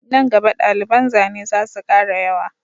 Nan gaba daliban zane zasu kara yawa